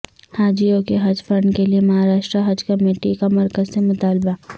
حاجیوں کے حج فنڈ کے لیے مہارشٹرا حج کمیٹی کا مرکز سے مطالبہ